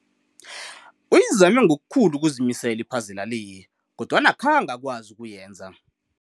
Uyizame ngokukhulu ukuzimisela iphazela le kodwana akazange akwazi ukuyenza.